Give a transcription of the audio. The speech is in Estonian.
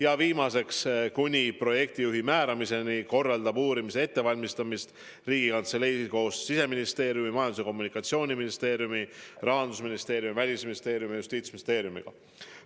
Ja viimaseks: kuni projektijuhi määramiseni korraldab uurimise ettevalmistamist Riigikantselei koos Siseministeeriumi, Majandus- ja Kommunikatsiooniministeeriumi, Rahandusministeeriumi, Välisministeeriumi ja Justiitsministeeriumiga.